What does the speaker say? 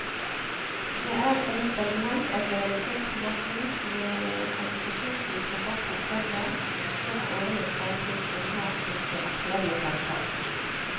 Det er et element av lojalitetsrabatt ved at prosentvis rabatt er større jo større årlig forbruk en har hos det aktuelle selskapet.